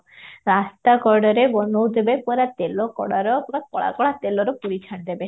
ରାସ୍ତା କଡରେ ବନଉଥିବେ ପୁରା ତେଲ କଢାର ପୁରା କଳା କଳା ତେଲରେ ପୁରୀ ଛାଣିଦେବେ